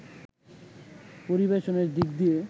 পরিবেশনের দিক দিয়ে